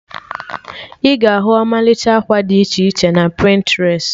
Ị ga-ahu ọmalịcha akwa did iche iche na Pịntrest